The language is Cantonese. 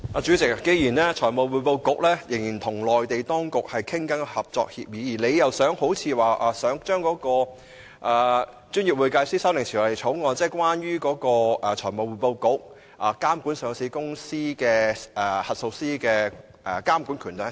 主席，財務匯報局仍在與內地相關當局商討制訂合作協議，而政府似乎打算向立法會提交《專業會計師條例草案》，賦予財務匯報局監管上市公司及核數師的權力。